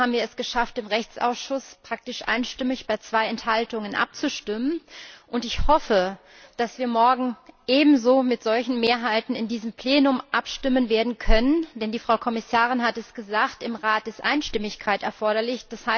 Trotzdem haben wir es geschafft, im Rechtsausschuss bei zwei Enthaltungen praktisch einstimmig abzustimmen. Und ich hoffe, dass wir morgen ebenso mit solchen Mehrheiten in diesem Plenum abstimmen werden können denn die Frau Kommissarin hat es gesagt, im Rat ist Einstimmigkeit erforderlich.